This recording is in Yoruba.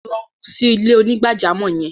Lọ sí ilẹ̀-onígbàjàmọ́ yẹn!